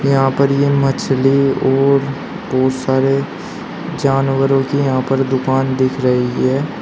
यहां पर ये मछली और बहुत सारे जानवरों के यहां पर दुकान दिख रही है।